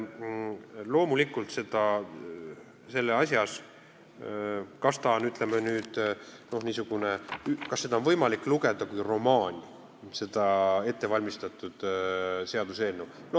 Loomulikult, kas seda on võimalik lugeda kui romaani, seda ettevalmistatud seaduseelnõu?